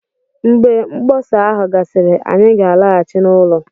Mgbe mkpọsa ahụ gasịrị, anyị ga-alaghachi n'ụlọ